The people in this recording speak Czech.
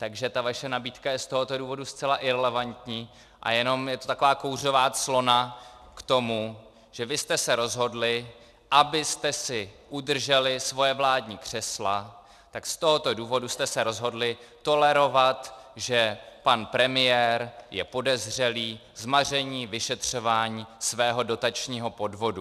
Takže ta vaše nabídka je z tohoto důvodu zcela irelevantní a jenom je to taková kouřová clona k tomu, že vy jste se rozhodli, abyste si udrželi svoje vládní křesla, tak z tohoto důvodu jste se rozhodli tolerovat, že pan premiér je podezřelý z maření vyšetřování svého dotačního podvodu.